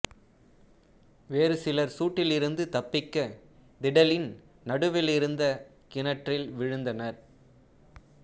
வேறு சிலர் சூட்டிலிருந்து தப்பிக்க திடலின் நடுவிலிருந்த கிணற்றில் வீழ்ந்தனர்